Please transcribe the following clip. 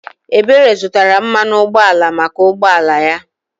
Ebere zụtara mmanụ ụgbọala maka ụgbọala ya.